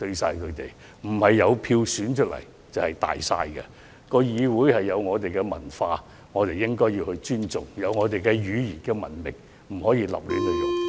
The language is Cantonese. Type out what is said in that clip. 因為不是有票選出來的便"大晒"，議會有其文化，我們應要尊重，有語言的文明，也不能亂用。